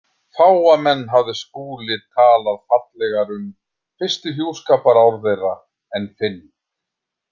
Fáa menn hafði Skúli talað fallegar um fyrstu hjúskaparár þeirra en Finn.